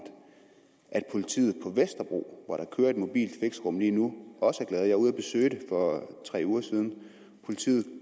at politiet på vesterbro hvor der kører et mobilt fixerum lige nu også er glade jeg var ude at besøge det for tre uger siden politiet